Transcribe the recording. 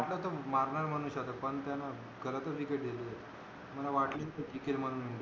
मला वाटल तो मारणार शतक म्हणून पण त्यान गलत च विकेट दिली होती मला वाटलीच तो टिकेल म्हणून